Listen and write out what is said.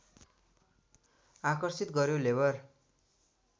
आकर्षित गर्‍यो लेबर